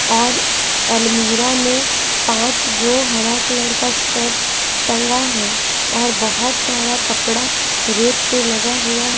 और अलमीरा में पाँच तो हरा कलर का शर्ट टंगा है और बहुत सारा कपड़ा रेत पे लगा हुआ--